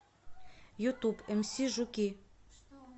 ютуб эмси жуки